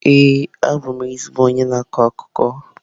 Ee, abụ m ezigbo onye na-akọ akụkọ.